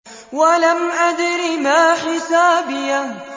وَلَمْ أَدْرِ مَا حِسَابِيَهْ